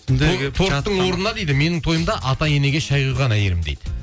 торттың орнына дейді менің тойымда ата енеге шай құйған әйелім дейді